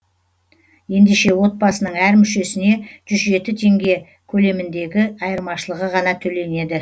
ендеше отбасының әр мүшесіне жүз жеті теңге көлеміндегі айырмашылығы ғана төленеді